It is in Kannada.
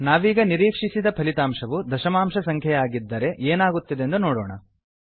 ನಾವೀಗ ನಿರೀಕ್ಷಿಸಿದ ಫಲಿತಾಂಶವು ದಶಮಾಂಶ ಸಂಖ್ಯೆಯಾಗಿದ್ದರೆ ಏನಾಗುತ್ತದೆಂದು ನೋಡೋಣ